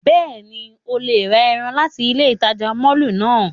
Bẹ́ẹ̀ni, o le ra ẹran lati ile itaja mọllu náa.